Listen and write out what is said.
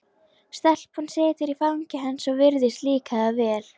Stelpan situr í fangi hans og virðist líka það vel.